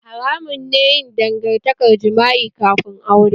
Haramun ne yin dangantakar jima'i kafin aure